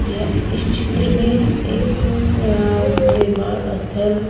यह इस चित्र में एक निर्माण स्थल।